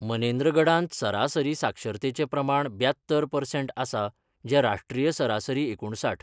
मनेन्द्रगढांत सरासरी साक्षरतेचें प्रमाण ब्यात्तर परसेंट आसा, जें राष्ट्रीय सरासरी एकुणसाठ.